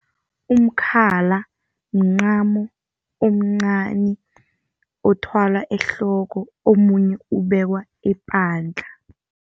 Umkhala mncamo omncani othwalwa ehloko, omunye ubekwa epandla.